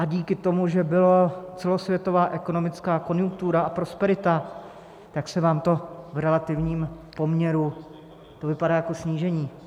A díky tomu, že byla celosvětová ekonomická konjunktura a prosperita, tak se vám to... v relativním poměru to vypadá jako snížení.